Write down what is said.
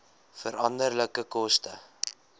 veranderlike koste